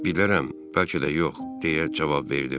Bilmirəm, bəlkə də yox.